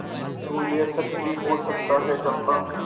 तो यह सच भी हो सकता है चंपा